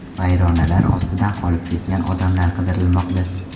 Vayronalar ostida qolib ketgan odamlar qidirilmoqda.